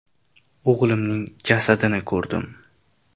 O‘g‘limning jasadini ko‘rdim.